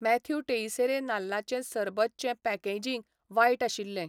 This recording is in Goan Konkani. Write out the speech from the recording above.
मॅथ्यू टेइसेरे नाल्लाचें सरबत चें पॅकेजींग वायट आशिल्लें.